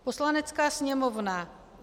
Poslanecká sněmovna